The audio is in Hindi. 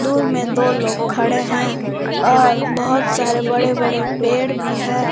दूर में दो लोग खड़े हैं और बहोत सारे बड़े बड़े पेड़ भी हैं।